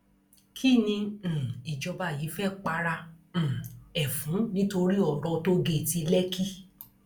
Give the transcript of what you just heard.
kín ni um ìjọba yìí fẹẹ para um ẹ fún nítorí ọrọ tòógẹẹtì lẹkì